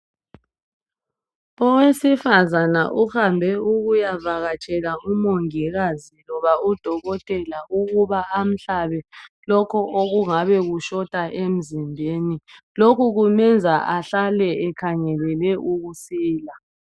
Owesifazana uhambe ukuyavakatshela umongikazi loba udokotela ukuba amhlabe lokhu okungabe kushota emzimbeni lokhu kumenza ahlale ekhangelele ukusila.